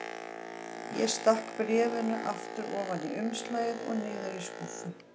Ég stakk bréfinu aftur ofan í umslagið og niður í skúffu.